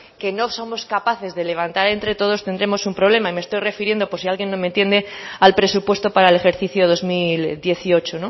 que no somos capaces de levantar entre todos tendremos un problema me estoy refiriendo por si alguien no me entiende al presupuesto para el ejercicio dos mil dieciocho